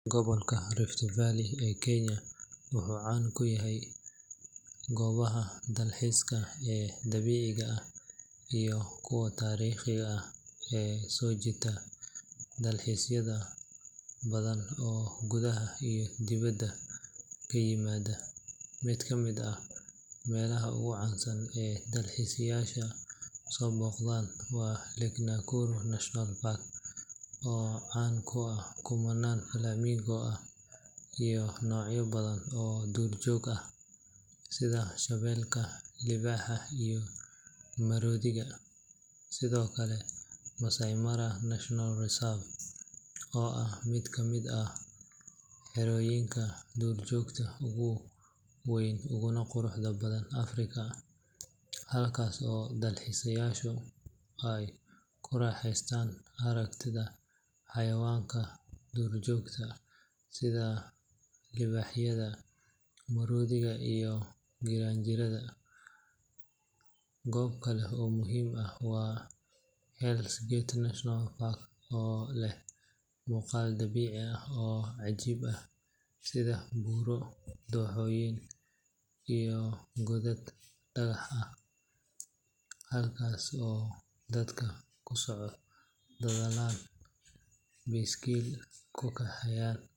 Gobolka Rift Valley ee Kenya wuxuu caan ku yahay goobaha dalxiiska ee dabiiciga ah iyo kuwa taariikhiga ah ee soo jiita dalxiisayaal badan oo gudaha iyo dibadda ka yimaada. Mid ka mid ah meelaha ugu caansan ee dalxiisayaasha soo booqdaan waa Lake Nakuru National Park, oo caan ku ah kumanaan flamingo ah iyo noocyo badan oo duurjoog ah sida shabeelka, libaaxa, iyo maroodiga. Sidoo kale, Maasai Mara National Reserve oo ah mid ka mid ah xerooyinka duurjoogta ugu weyn uguna quruxda badan Afrika, halkaas oo dalxiisayaashu ay ku raaxaystaan aragtida xayawaanka duurjoogta sida libaaxyada, maroodiga, iyo giraangirta. Goob kale oo muhiim ah waa Hell’s Gate National Park, oo leh muuqaal dabiici ah oo cajiib ah sida buuro, dooxooyin, iyo godad dhagax ah, halkaas oo dadku ku socdaalaan, baaskiil ku kaxeeyaan.